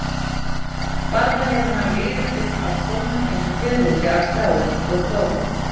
Varla hefur hann liðið upp af stólnum eins og fiðrildi af strái, og þó.